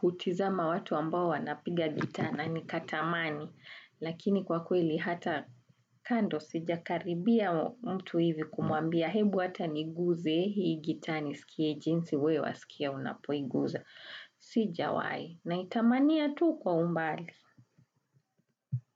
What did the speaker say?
hutizama watu ambao wanapiga gitaa na kutamani. Lakini kwa kweli hata kando sijakaribia mtu hivi kumuambia hebu hata niiguze hii gitaa nisikie jinsi wewe wasikia unapoiguza. Sijawahi naitamania tu kwa umbali.